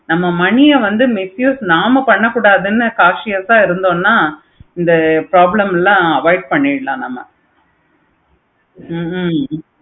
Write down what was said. நம்ம money ஆஹ் நாம misuse பண்ண கூடாது conscious ஆஹ் இருந்தோம்னா இந்த problem ஆமா ஆமா correct